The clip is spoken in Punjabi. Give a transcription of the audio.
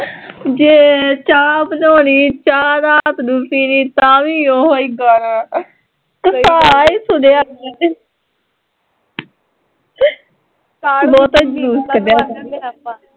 ਜੇ ਚਾਹ ਬਣਾਉਣੀ ਚਾਹ ਰਾਤ ਨੂੰ ਪੀਣੀ ਤਾਂ ਵੀ ਓਹੀ ਗਾਣਾ ਘਸਾ ਈ ਛੱਡਿਆ ਅਸੀਂ ਤੇ ਬਹੁਤਾਂ ਈ ਜਲੂਸ ਕੱਢਿਆ